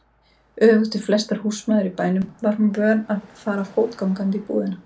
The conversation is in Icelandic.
Öfugt við flestar húsmæður í bænum var hún vön að fara fótgangandi í búðina.